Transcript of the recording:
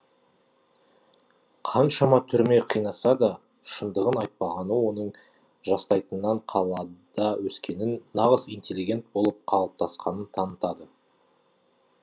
қаншама түрме қинаса да шындығын айтпағаны оның жастайынан қалада өскенін нағыз интеллигент болып қалыптасқанын танытады